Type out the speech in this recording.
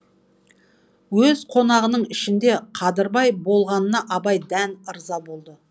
өз қонағының ішінде қадырбай болғанына абай дән ырза болды